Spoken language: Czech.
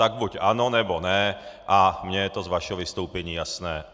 Tak buď ano, nebo ne, a mně je to z vašeho vystoupení jasné.